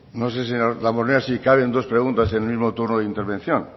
no sé señor damborenea si caben dos preguntas en el mismo turno de intervención